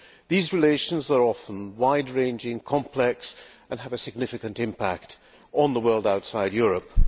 These relations are often wide ranging, complex and have a significant impact on the world outside Europe.